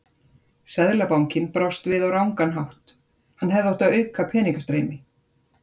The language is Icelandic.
Seðlabankinn brást við á rangan hátt, hann hefði átt að auka peningastreymi.